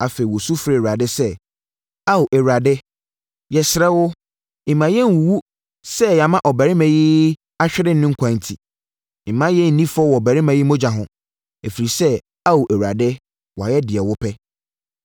Afei wosu frɛɛ Awurade sɛ, “Ao Awurade yɛsrɛ wo mma yɛn nwuwu sɛ yɛama ɔbarima yi ahwere ne nkwa enti. Mma yɛn nni fɔ wɔ ɔbarima yi mogya ho, ɛfiri sɛ, Ao Awurade wayɛ deɛ wo pɛ.”